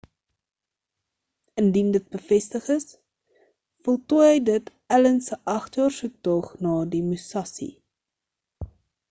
indien dit bevestig is voltooi dit allen se agt-jaar soektog na die musashi